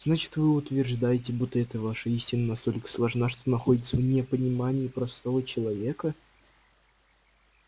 значит вы утверждаете будто эта ваша истина настолько сложна что находится вне понимания простого человека